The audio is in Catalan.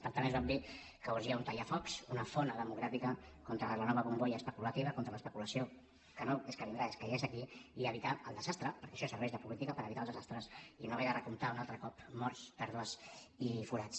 per tant és obvi que urgia un tallafocs una fona democràtica contra la nova bombolla especulativa contra l’especulació que no és que vindrà és que ja és aquí i evitar el desastre perquè això serveix de política per evitar els desastres i no haver de recomptar un altre cop morts pèrdues i forats